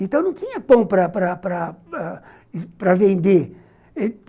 Então não tinha pão para para para para vender.